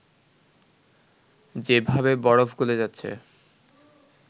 যে ভাবে বরফ গলে যাচ্ছে